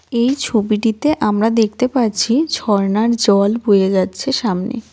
এই ছবিটিতে আমরা দেখতে পাচ্ছি ঝরনার জল বয়ে যাচ্ছে সামনে.